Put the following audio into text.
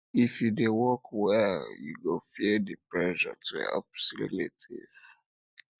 if you dey work well you go feel di pressure to help relatives